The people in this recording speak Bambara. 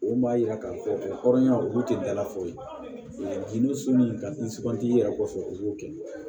O b'a yira k'a fɔ o hɔrɔnya olu te dalafɔ ye gindo sun in ka nsugan tigi yɛrɛ kɔfɛ u y'o kɛ